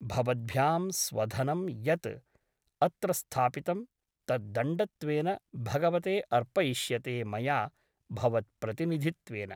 भवद्भ्यां स्वधनं यत् अत्र स्थापितं तत् दण्डत्वेन भगवते अर्पयिष्यते मया भवत्प्रतिनिधित्वेन ।